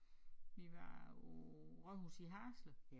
Vi var på rådhuset i Haderslev